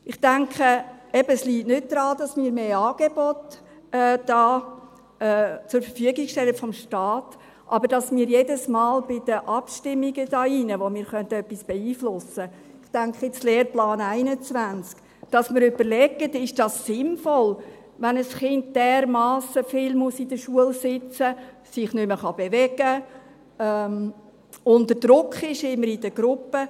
Ich denke, es liegt eben nicht daran, dass wir da mehr Angebote des Staates zur Verfügung stellen, sondern dass wir uns bei den Abstimmungen hier in diesem Saal, bei denen wir etwas beeinflussen können – ich denke jetzt etwa an den Lehrplan 21 –, jedes Mal überlegen: Ist es sinnvoll, wenn ein Kind dermassen viel in der Schule sitzen muss, sich nicht mehr bewegen kann, unter Druck ist, immer in der Gruppe?